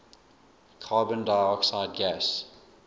carbon dioxide gas